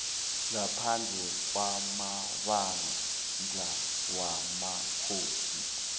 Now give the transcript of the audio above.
ngaphandle kwamabandla wamakhosi